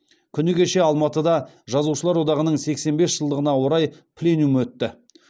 күні кеше алматыда жазушылар одағының сексен бес жылдығына орай пленум өтті